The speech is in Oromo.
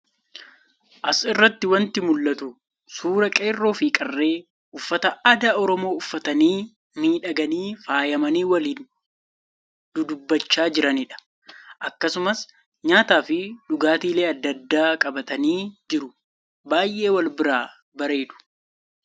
as irratti wanti mul'atu suuraa qeerroo fi qarree uffata aadaa Oromoo uffatanii miidhaganii faayamanii waliin dudubbachaa jiranii dha. Akkasumas, nyaataa fi dhugaatilee adda addaa qabatanii jiru. Baay'ee wal biraa bareedu.